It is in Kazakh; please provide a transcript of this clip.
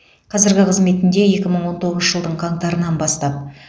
қазіргі қызметінде екі мың он тоғызыншы жылдың қаңтарынан бастап